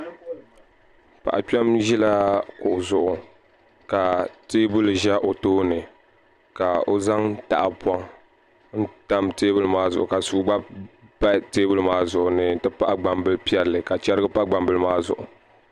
Paɣa kpɛm ʒila kuɣu zuɣu ka teebuli ʒɛ o tooni ka o zaŋ tahapoŋ n tam teebuli maa zuɣu ka suu gba pa teebuli maa zuɣu n ti pahi gbambili piɛlli ka chɛrigi pa gbambili maa zuɣu